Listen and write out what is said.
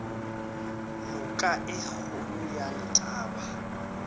noka ye kgolo ya letaba